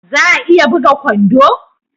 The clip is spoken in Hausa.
Za a iya buga kwando?